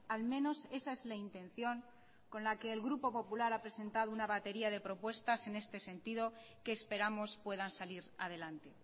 al menos esa es la intención con la que el grupo popular ha presentado una batería de propuestas en este sentido que esperamos puedan salir adelante